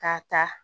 K'a ta